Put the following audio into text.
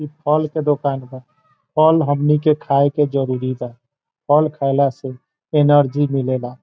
इ फल के दुकान ह फल हमनी के खाए के जरुरी बा फल खएला से हम नीके एनर्जी मिले ला।